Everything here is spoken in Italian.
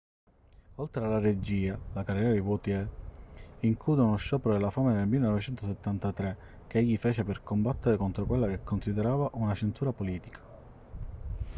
oltre alla regia la carriera di vautier include uno sciopero della fame nel 1973 che egli fece per combattere contro quella che considerava una censura politica